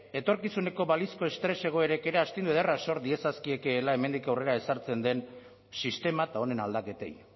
etorkizuneko balizko estres egoerek ere astindu ederra sor diezazkiekeela hemendik aurrera ezartzen den sistema eta honen aldaketei